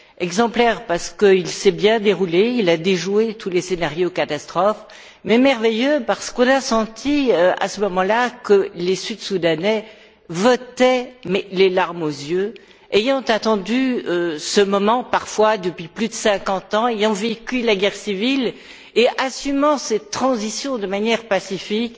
Exemplaire, parce qu'il s'est bien déroulé et qu'il a déjoué tous les scénarios catastrophes, et merveilleux parce qu'on a senti à ce moment là que les Sud Soudanais votaient les larmes aux yeux, ayant attendu ce moment parfois depuis plus de cinquante ans, ayant vécu la guerre civile et assumant cette transition de manière pacifique